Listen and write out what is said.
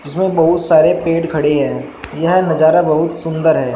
इसमें बहुत सारे पेड़ खड़े हैं यह नजारा बहुत सुंदर है।